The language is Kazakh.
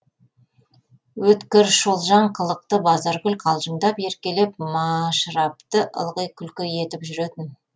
өткір шолжаң қылықты базаргүл қалжыңдап еркелеп машырапты ылғи күлкі етіп жүретін